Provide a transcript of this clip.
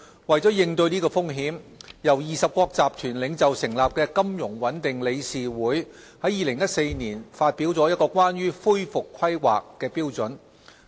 為應對這風險，由20國集團領袖成立的金融穩定理事會在2014年發表了關於恢復規劃的標準。